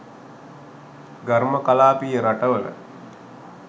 ඝර්ම කලාපීය රටවල